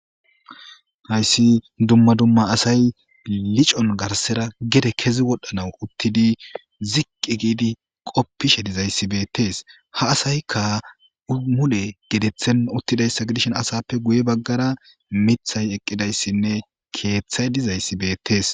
Hayssi dumma dumma asay licon garsera gede kezi wodhdhanaw uttidi ziqqi giidi qoppishe dizayssibeettees ha asayka umule geteththen uttidayssa gidishin asappe guye baggara mithay eqqidayssinne keeththay dizayssi beettees